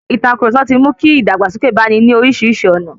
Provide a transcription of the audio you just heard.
Ìtàkurọ̀sọ ti mu ki ìdàgbàsókè bá ní orísìírísìí ọ̀nà.